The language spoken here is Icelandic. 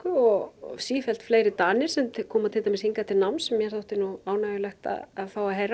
og sífellt fleiri Danir sem koma til dæmis hingað til náms sem mér þótti ánægjulegt að fá að heyra